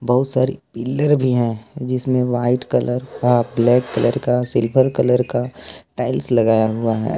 बहुत सारी पिलर भी है जिसमें व्हाइट कलर का ब्लैक कलर का सिल्वर कलर का टाइल्स लगाया हुआ है।